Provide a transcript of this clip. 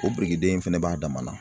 O birikiden fɛnɛ b'a dama na